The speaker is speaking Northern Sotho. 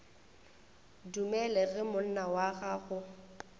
dumele ge monna wa gagwe